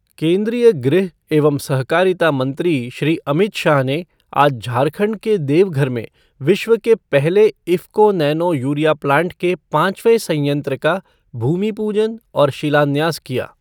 केन्द्रीय गृह एवं सहकारिता मंत्री श्री अमित शाह ने आज झारखण्ड के देवघर में विश्व के पहले इफ़को नैनो यूरिया प्लांट के पांचवें सयंत्र का भूमिपूजन और शिलान्यास किया।